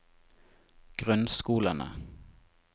grunnskolene